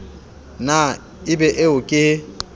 na e be eo ke